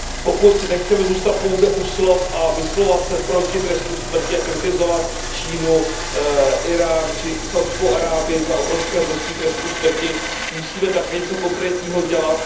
Pokud nechceme zůstat pouze u slov a vyslovovat se proti trestu smrti a kritizovat Čínu, Írán či Saudskou Arábii za obrovské množství trestů smrti, musíme také něco konkrétního dělat.